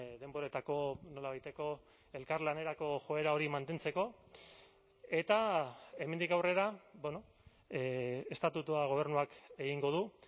denboretako nolabaiteko elkarlanerako joera hori mantentzeko eta hemendik aurrera estatutua gobernuak egingo du